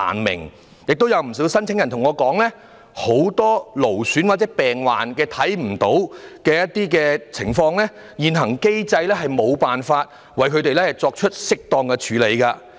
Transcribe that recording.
另外，亦有不少申請人向我表示，很多勞損和病患是外表看不到的情況，現行機制無法為他們提供適當的援助。